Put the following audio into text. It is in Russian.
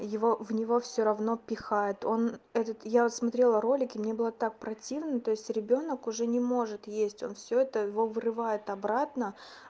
его в него все равно пихают он этот я смотрел ролики и мне было так противно то есть ребёнок уже не может есть он все это его вырывает обратно